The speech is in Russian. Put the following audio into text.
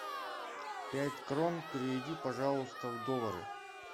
пять крон переведи пожалуйста в доллары